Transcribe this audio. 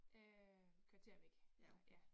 Øh kvarter væk vej ja